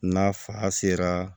N'a fa sera